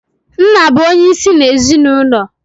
Nna bụ onye isi n'ezinụlọ.